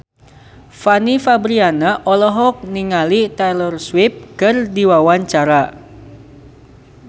Fanny Fabriana olohok ningali Taylor Swift keur diwawancara